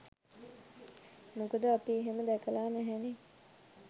මොකද අපි එහෙම දැකල නැහැනේ